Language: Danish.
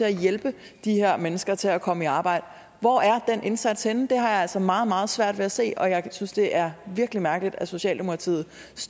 at hjælpe de her mennesker til at komme i arbejde hvor er den indsats henne det har jeg altså meget meget svært ved at se og jeg synes det er virkelig mærkeligt at socialdemokratiet